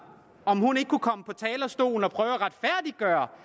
om hun ikke kunne komme på talerstolen og prøve at retfærdiggøre